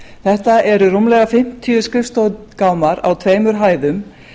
þetta eru rúmir fimmtíu skrifstofugámar á tveimur hæðum